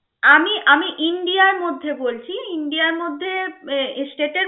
আমি আমি আমাদের ইন্ডিয়ার মধ্যে বলছি ইন্ডিয়ার মধ্যে state এ